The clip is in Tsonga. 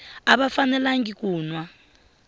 a va fanelangi ku nwa